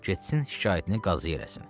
Getsin şikayətini qazıya eləsin.